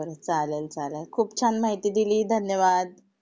बर बर बर चालेल खूप छान माहिती दिली धन्यवाद.